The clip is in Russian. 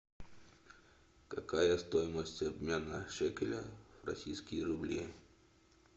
какая стоимость обмена шекеля в российские рубли